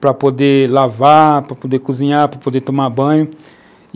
para poder lavar, para poder cozinhar, para poder tomar banho.